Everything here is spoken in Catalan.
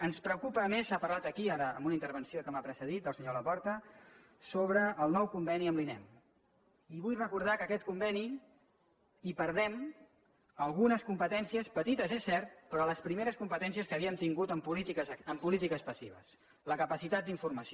ens preocupa a més s’ha parlat aquí ara en una inter·venció que m’ha precedit del senyor laporta sobre el nou conveni amb l’inem i vull recordar que a aquest conveni hi perdem algunes competències petites és cert però les primeres competències que havíem tin·gut en polítiques passives la capacitat d’informació